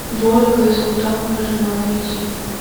вольга и султанова жена найти